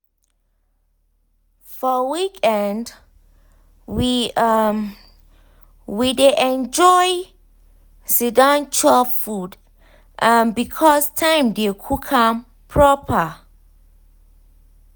for weekend we um e dey enjoy siddon chop food um because time dey to cook am proper.